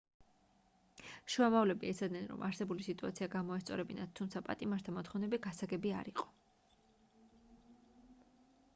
შუამავლები ეცადნენ რომ არსებული სიტუაცია გამოესწორებინათ თუმცა პატიმართა მოთხოვნები გასაგები არ იყო